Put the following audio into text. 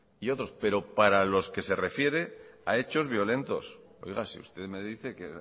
y otros pero para los que se refiere a hechos violentos oiga si usted me dice que